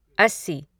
अस्सी